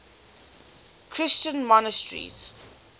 christian monasteries